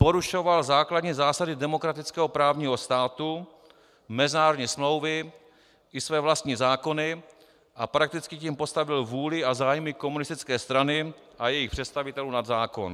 Porušoval základní zásady demokratického právního státu, mezinárodní smlouvy i své vlastní zákony a prakticky tím postavil vůli a zájmy komunistické strany a jejích představitelů nad zákon.